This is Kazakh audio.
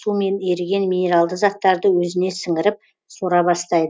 су мен еріген минералды заттарды өзіне сіңіріп сора бастайды